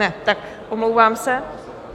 Ne, tak omlouvám se.